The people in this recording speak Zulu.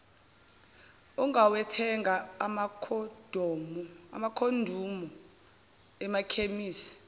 ungawathenga amakhondomu emakhemisi